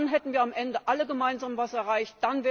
Dann hätten wir am Ende alle gemeinsam etwas erreicht.